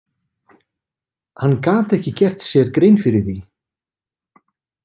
Hann gat ekki gert sér grein fyrir því.